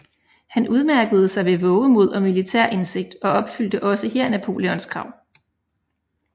Han udmærkede sig ved vovemod og militær indsigt og opfyldte også her Napoleons krav